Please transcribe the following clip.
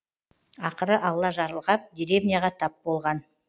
ақыры алла жарылғап деревняға тап болған